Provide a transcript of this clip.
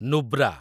Nubra